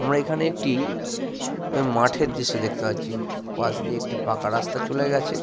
আমরা এখানে একটি মাঠের দৃশ্য দেখতে পাচ্ছি। পাশ দিয়ে একটি পাকা রাস্তা চলে গেছে।